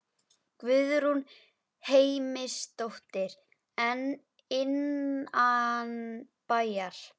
Guðrún Heimisdóttir: En innanbæjar?